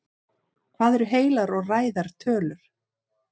hvað eru heilar og ræðar tölur